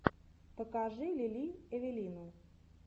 покажи лили эвелину